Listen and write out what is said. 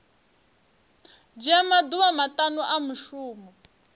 dzhia maḓuvha maṱanu a mushumo